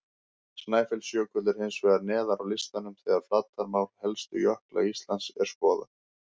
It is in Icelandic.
Snæfellsjökull er hins vegar neðar á listanum þegar flatarmál helstu jökla Íslands er skoðað.